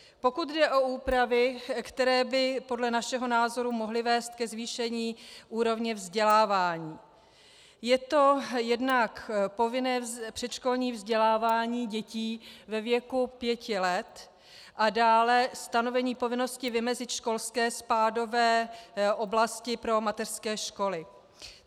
Pokud jde o úpravy, které by podle našeho názoru mohly vést ke zvýšení úrovně vzdělávání, je to jednak povinné předškolní vzdělávání dětí ve věku pěti let a dále stanovení povinnosti vymezit školské spádové oblasti pro mateřské školy.